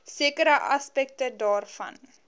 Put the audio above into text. sekere aspekte daarvan